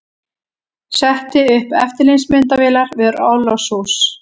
Setti upp eftirlitsmyndavélar við orlofshús